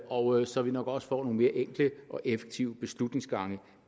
og så vi nok også får nogle mere enkle og effektive beslutningsgange